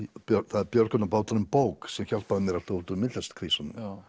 það er björgunarbáturinn bók sem hjálpaði mér alltaf út úr myndlistarkrísunum